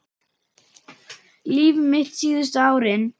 Líf mitt síðustu árin.